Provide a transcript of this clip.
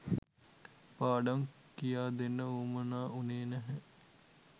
පාඩම් කියාදෙන්න වුවමනා වුණේ නැහැ